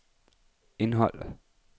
indhold